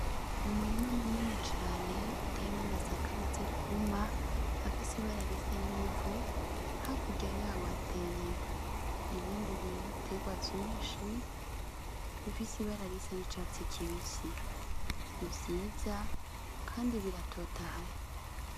Umurima munini cane uteyemwo amasaka amaze kwuma afise ibara risa n'ivu hakurya yaho hateye ibindi biterwa vyinshi bifise ibara risa n'icatsi kibisi ni vyiza kandi biratotahaye.